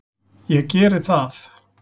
Ég geri það!